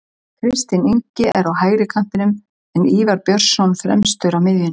Kristinn Ingi er á hægri kantinum en Ívar Björnsson fremstur á miðjunni.